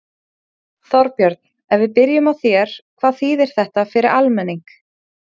Þorbjörn, ef við byrjum á þér, hvað þýðir þetta fyrir almenning?